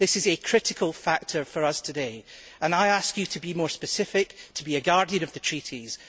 This is a critical factor for us today and I ask you to be more specific, to be a guardian of the treaties.